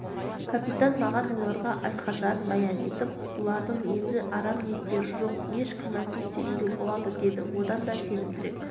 капитан маған оларға айтқандарын баян етіп бұлардың енді арам ниеттері жоқ еш күмәнсіз сенуге болады деді одан да сенімдірек